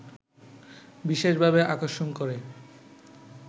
বিশেষভাবে আকর্ষণ করে